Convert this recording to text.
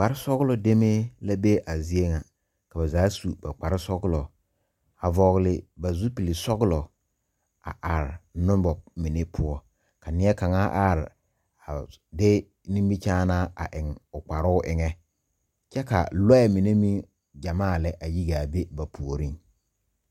Kpare sɔglo demee la be a zeɛ nga ka ba zaa su ba kpare sɔglo a vɔgli ba zupili suglo a arẽ nuba mene puo ka neɛ kanga arẽ a de nimikyaanaa a eng ɔ kparoo engan kye ka lɔɛ mene meng jamaa le a yi gaa be ba poɔring.